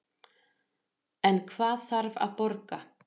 En hvað þarf að borga